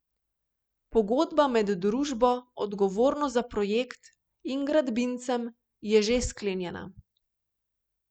Pogodba med družbo, odgovorno za projekt, in gradbincem je že sklenjena.